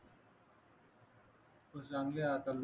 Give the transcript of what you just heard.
तू चांगले आता आलो